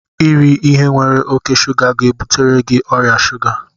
Iri ihe nwere oke shuga ga-ebutere gị ọrịa shuga